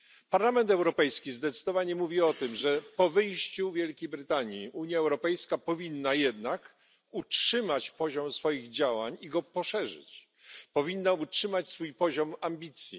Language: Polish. Parlament Europejski zdecydowanie mówi o tym, że po wyjściu Zjednoczonego Królestwa Unia Europejska powinna jednak utrzymać zakres swoich działań i go poszerzyć, powinna utrzymać swój poziom ambicji.